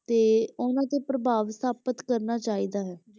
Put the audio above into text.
ਤੇ ਉਹਨਾਂ ਤੇ ਪ੍ਰਭਾਵ ਸਥਾਪਤ ਕਰਨਾ ਚਾਹੀਦਾ ਹੈ।